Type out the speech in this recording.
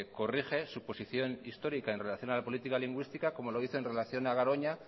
corrige su posición histórica en relación a la política lingüística como lo hizo en relación a garoña